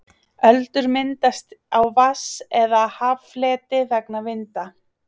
öldur myndast á vatns eða haffleti vegna vinda